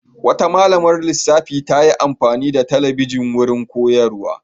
Wata malamar lissafi ta yi amfani da talabijin wurin koyarwa.